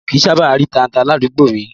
Mi ò kí ń sábà rí tata ládùúgbò mi